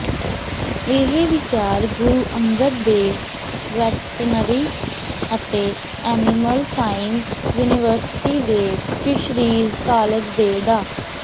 ਇਹ ਵਿਚਾਰ ਗੁਰੂ ਅੰਗਦ ਦੇਵ ਵੈਟਨਰੀ ਅਤੇ ਐਨੀਮਲ ਸਾਇੰਸਜ਼ ਯੂਨੀਵਰਸਿਟੀ ਦੇ ਫ਼ਿਸ਼ਰੀਜ਼ ਕਾਲਜ ਦੇ ਡਾ